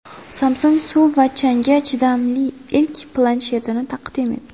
Samsung suv va changga chidamli ilk planshetini taqdim etdi.